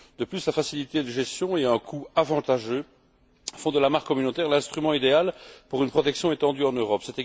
De plus, la facilité de gestion et un coût avantageux font de la marque communautaire l'instrument idéal pour une protection étendue en Europe.